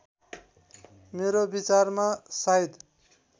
मेरो विचारमा सायद